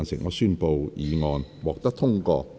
我宣布議案獲得通過。